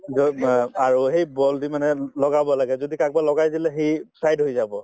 যত ব আৰু সেই ball দি মানে লগাব লাগে যদি কাৰোবাক লগাই দিলে সি side হৈ যাব